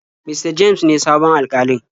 Mista james ne sabon Alkalin.